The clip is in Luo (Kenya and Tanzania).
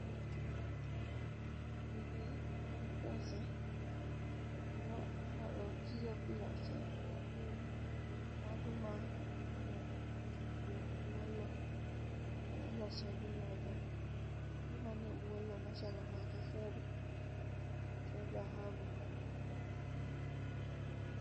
Gini en pesa gima inyalo ti go kilose gin mwandu ma igole buo lo ma iloso gi ga go, mwandu manie buo loo machalo kaka fedha gi dhahabu